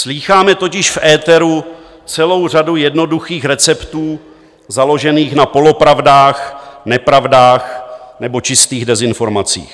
Slýcháme totiž v éteru celou řadu jednoduchých receptů založených na polopravdách, nepravdách nebo čistých dezinformacích.